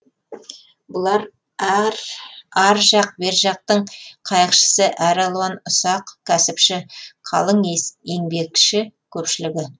бұлар ар жақ бер жақтың қайықшысы әралуан ұсақ кәсіпші қалың еңбекші көпшілігі